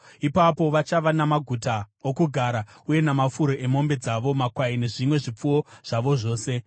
Ipapo vachava namaguta okugara uye namafuro emombe dzavo, makwai nezvimwe zvipfuwo zvavo zvose.